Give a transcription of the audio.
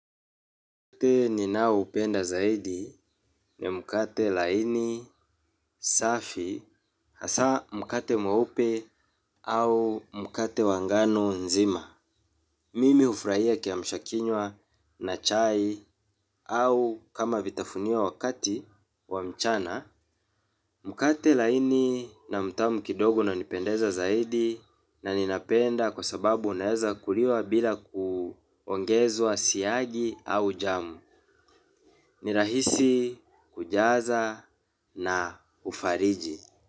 Mkate ni nao upenda zaidi ni mkate laini, safi, hasa mkate mwe upe au mkate wangano nzima. Mimi hufurahia kia mshakinywa na chai au kama vitafunio wakati wa mchana. Mkate laini na mtamu kidogo una nipendeza zaidi na ninapenda kwa sababu unaweza kuliwa bila kuongezwa siagi au jamu. Ni rahisi, kujaza na ufariji.